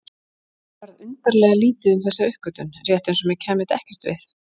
Mér varð undarlega lítið um þessa uppgötvun, rétt eins og mér kæmi þetta ekkert við.